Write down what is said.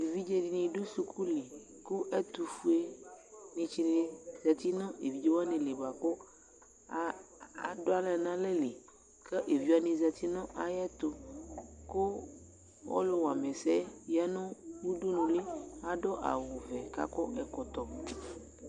Evidze dini du suku lɩ, ku ɛtufue ni tsi ni zati nu evedze wani lɩ bua ku adu aɣla n'alɛ lɩ ku evidze wani zati nu ayɛ tu, ku ɔlu wuam'ɛsɛɛ ya nu udunuli, adu awu ʋɛ k'akɔ ɛkɔtɔ